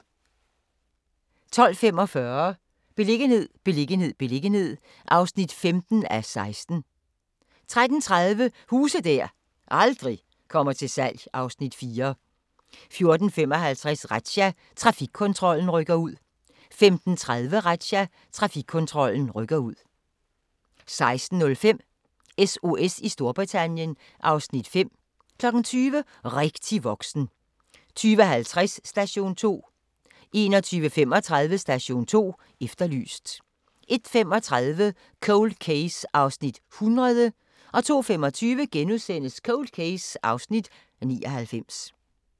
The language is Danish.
12:45: Beliggenhed, beliggenhed, beliggenhed (15:16) 13:30: Huse der aldrig kommer til salg (Afs. 4) 14:55: Razzia – Trafikkontrollen rykker ud 15:30: Razzia – Trafikkontrollen rykker ud 16:05: SOS i Storbritannien (Afs. 5) 20:00: Rigtig voksen 20:50: Station 2 21:35: Station 2 Efterlyst 01:35: Cold Case (100:156) 02:25: Cold Case (99:156)*